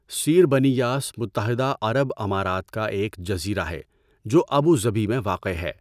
Sir Bani Yas متحدہ عرب امارات کا ایک جزیرہ ہے جو ابوظبی میں واقع ہے۔